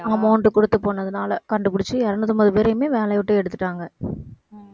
amount கொடுத்து போனதுனால கண்டுபிடிச்சு இருநூத்தம்பது பேரையுமே வேலையை விட்டு எடுத்துட்டாங்க.